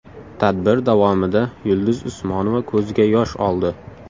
Tadbir davomida Yulduz Usmonova ko‘ziga yosh oldi.